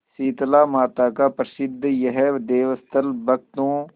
शीतलामाता का प्रसिद्ध यह देवस्थल भक्तों